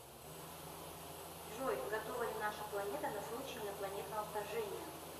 джой готова ли наша планета на случай инопланетного вторжения